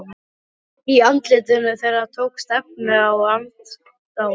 Í andlitum þeirra tókst efinn á við aðdáunina.